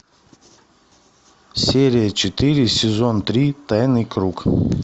серия четыре сезон три тайный круг